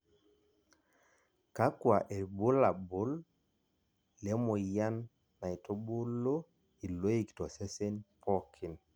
Kakua irbulabol le moyian naitubulu iloik tosesen pookin.